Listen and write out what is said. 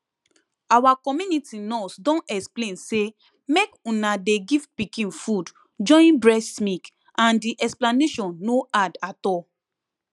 our community nurse don explain say make una dey give pikin food join breast milk and the explanation no hard at all